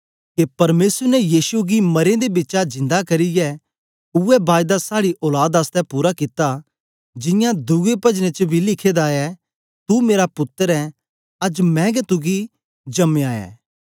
के परमेसर ने यीशु गी मरें दे बिचा जिन्दा करियै उवै बायदा साड़ी औलाद आसतै पूरा कित्ता जियां दुए पजनें च बी लिखे दा ऐ तू मेरा पुत्तर ऐं अज्ज मैं गै तुगी जमायां ऐ